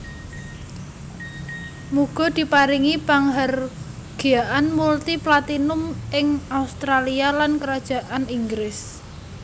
Muga diparingi panghargyaan multi platinum ing Australia lan Kerajaan Inggris